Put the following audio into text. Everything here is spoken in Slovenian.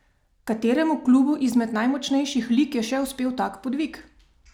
Kateremu klubu izmed najmočnejših lig je še uspel tak podvig?